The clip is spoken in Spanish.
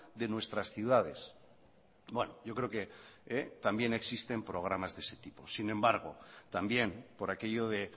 de nuestras ciudades bueno yo creo que también existen programas de ese tipo sin embargo también por aquello de